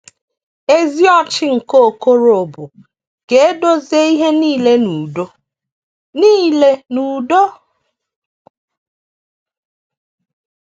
Ezi ọchị nke Okorobụ ka e dozie ihe nile n’udo. nile n’udo.